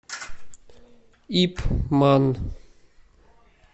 ип ман